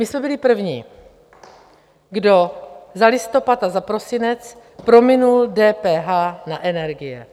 My jsme byli první, kdo za listopad a za prosinec prominul DPH na energie.